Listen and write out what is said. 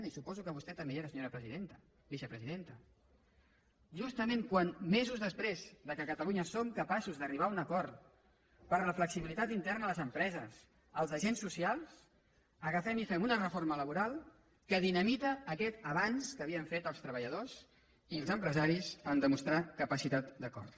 i suposo que vostè també hi era senyora vicepresidenta justament quan mesos després que a catalunya som capaços d’arribar a un acord per a la flexibilitat interna a les empreses als agents socials agafem i fem una reforma laboral que dinamita aquest avenç que havien fet els treballadors i els empresaris en demostrar capacitat d’acord